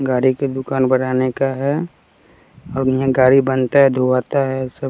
गाड़ी की दुकान बढ़ाने का है और यहां गाड़ी बनता है धुलाते है सब--